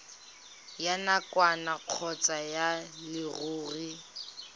ya nakwana kgotsa ya leruri